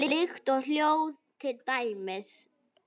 Lykt og hljóð til dæmis.